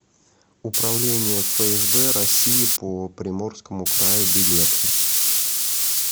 управление фсб россии по приморскому краю билет